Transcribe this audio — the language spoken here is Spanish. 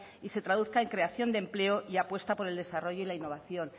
y se traduzca en creación de empleo y apuesta por el desarrollo y la innovación